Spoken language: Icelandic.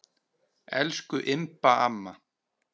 Elsku Imba amma.